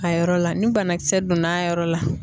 A yɔrɔ la ni banakisɛ donna a yɔrɔ la